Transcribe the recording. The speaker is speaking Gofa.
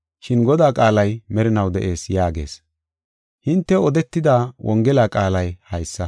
Shin Godaa qaalay merinaw de7ees” yaagees. Hintew odetida Wongela qaalay haysa.